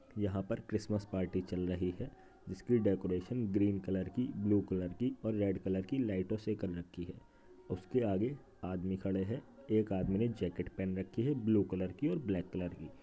यहाँ पर Christmas party चल रही है जिसकी डेकोरेशन ग्रीन कलर की ब्लू कलर की और रेड कलर की लाइटों से कर रखी है। उसके आगे आदमी खड़े हैं। एक आदमी ने जैकेट पहन रखी है ब्लू कलर की और ब्लैक कलर की।